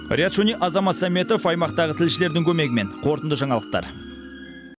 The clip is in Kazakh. риат шони азамат сәметов аймақтағы тілшілердің көмегімен қорытынды жаңалықтар